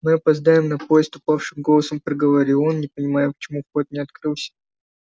мы опоздаем на поезд упавшим голосом проговорил он не понимаю почему вход не открылся